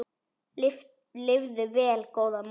Lifðu vel góða móðir.